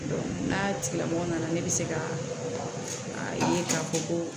N'a tigilamɔgɔ nana ne bɛ se ka ye k'a fɔ ko